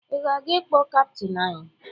Ị na-aga ịkpọ kaptịn anyị?